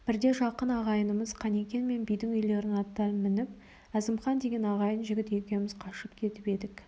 бірде жақын ағайынымыз қанекең мен бидің үйлерінің аттарын мініп әзімқан деген ағайын жігіт екеуміз қашып кетіп едік